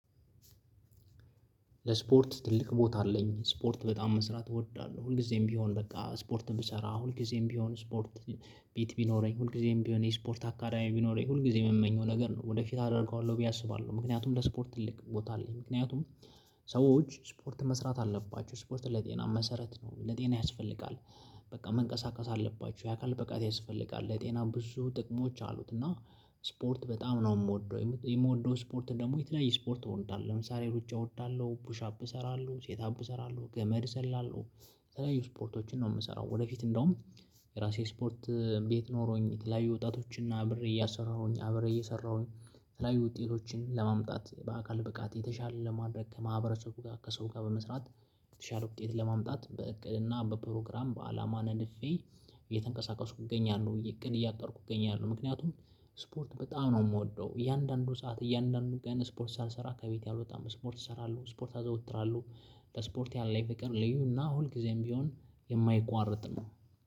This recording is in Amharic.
ለስፖርት ትልቅ ቦታ አለኝ ስፖርት በጣም መስራት እወዳለሁ ሁልጊዜም ቢሆን በቃ ስፖርት ብሰራ ሁልጊዜም ቢሆን ስፖርት ቤት ቢኖረኝ ሁልጊዜም ቢሆን የስፖርት አካዳሚ ቢኖረኝ ሁልጊዜ የምመኘው ነገር ነው ወደፊት አደርገዋለሁ ብዬ አስባለሁ። ምክንያቱም ለስፖርት ትልቅ ቦታ አለኝ ምክንያቱም ሰዎች ስፖርት መስራት አለባቸው ስፖርት ለጤና መሰረት ነው ለጤና ያስፈልጋል። በቃ መንቀሳቀስ አለባችሁ የአካል ብቃት ያስፈልጋል ለጤና ብዙ ጥቅሞች አሉት። እና ስፖርት በጣም ነው የምወደው። የምወደው ስፖርት ደግሞ የተለያየ ስፖርት እወዳለሁ ለምሳሌ ሩጫ እወዳለሁ ፑሻፕ እሰራለሁ ሴት አፕ እሰራለሁ ገመድ እዘላለው የተለያዩ ስፖርቶችን ነው የምሰራው። ወደፊት እንደውም የራሴ ስፖርት ቤት ኖሮኝ የተለያዩ ወጣቶችን አብሬ እያሰራሁኝ አብሬ እየሰራሁኝ። የተለያዩ ውጤቶችን ለማምጣት በአካል ብቃት የተሻለ ለማድረግ ከማህበረሰቡ ጋር ከሰው ጋር በመስራት። የተሻለ ውጤት ለማምጣት በእቅድና በፕሮግራም በአላማ ነድፌ። እየተንቀሳቀሱ እገኛለሁ ብዬ ቅን እያጠርኩ እገኛለሁ። ምክንያቱም ስፖርት በጣም ነው የምወደው። እያንዳንዱ ሰዓት እያንዳንዱ ገና ስፖርት ሳልሰራ ከቤት ያልወጣም ስፖርት ይሰራሉ ስፖርት አዘወትራለሁ። ስፖርት ያለ ይቅር ልዩና ሁልጊዜም ቢሆን የማይቋረጥ ነው።